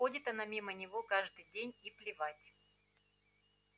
ходит она мимо него каждый день и плевать